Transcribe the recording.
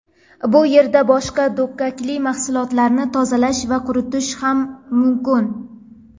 Bu yerda boshqa dukkakli mahsulotlarni tozalash va quritish ham mumkin.